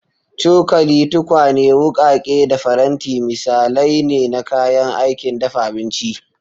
Cokali, tukwane, wukake, da faranti misalai ne na kayan aikin dafa abinci.